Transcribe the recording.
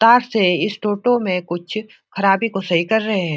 तार से इस टोटो में कुछ खराबी को सही कर रहे है।